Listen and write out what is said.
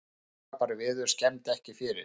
Blíðskaparveður skemmdi ekki fyrir